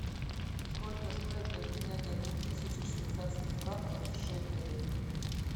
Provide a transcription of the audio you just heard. сколько стоит обменять одну тысячу швейцарских франков в шекели